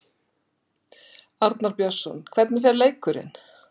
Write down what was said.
Arnar Björnsson: Hvernig fer leikurinn?